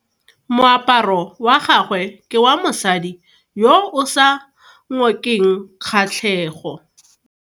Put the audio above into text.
Moaparo wa gagwe ke wa mosadi yo o sa ngokeng kgatlhego.